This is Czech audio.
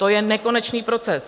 To je nekonečný proces.